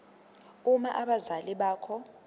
uma abazali bakho